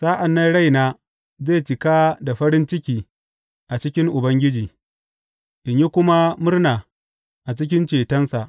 Sa’an nan raina zai cika da farin ciki a cikin Ubangiji in yi kuma murna a cikin cetonsa.